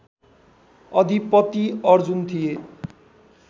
अधिपति अर्जुन थिए